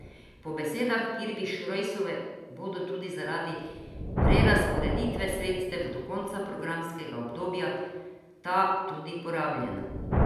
Po besedah Kirbiš Rojsove bodo tudi zaradi prerazporeditve sredstev do konca programskega obdobja ta tudi porabljena.